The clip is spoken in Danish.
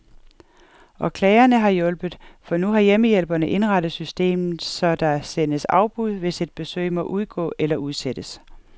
Og klagerne har hjulpet, for nu har hjemmehjælperne indrettet systemet, så der sendes afbud, hvis et besøg må udgå eller udsættes.